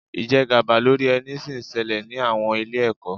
Ìjẹgàba lórí ẹni sì ń ṣẹlẹ̀ ní àwọn ilé-ẹ̀kọ́.